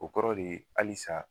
O kɔrɔ de ye alisa.